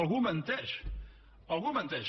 algú menteix algú menteix